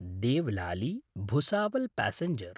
Devlali Bhusawal passenger